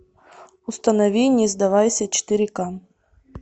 установи не сдавайся четыре ка